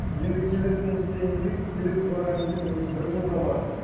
енді келесі не істеген кезде келесі барған кезде мен уже бір жылға бардым